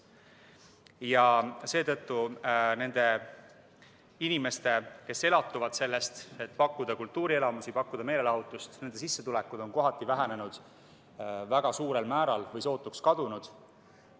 Ja seetõttu on paljudel nendel inimestel, kes elatuvad sellest, et pakkuda kultuurielamusi, pakkuda meelelahutust, sissetulekud väga suurel määral või sootuks kadunud.